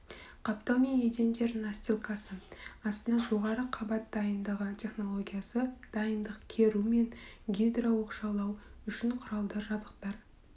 қаптау мен едендер настилкасы астына жоғары қабат дайындығы технологиясы дайындық керу мен гидрооқшаулау үшін құралдар жабдықтар